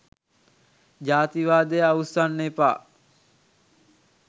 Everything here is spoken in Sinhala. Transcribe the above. ජාතිවාදය අවුස්සන්න එපා.